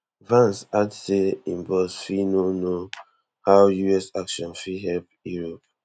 vance add say im boss fit no know how us action fit help europe